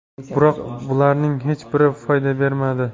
Biroq bularning hech biri foyda bermadi.